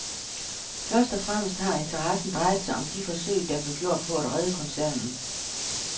Først og fremmest har interessen drejet sig om de forsøg, der blev gjort på at redde koncernen.